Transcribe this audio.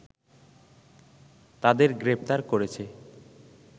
তাদের গ্রেপ্তার করেছে